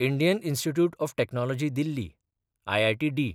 Indian Institute of Technology Delhi (IITD)